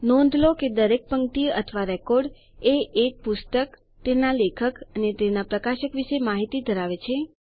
નોંધ લો કે દરેક પંક્તિ અથવા રેકોર્ડ એ એક પુસ્તક તેના લેખક અને તેના પ્રકાશક વિશે માહિતી ધરાવે છે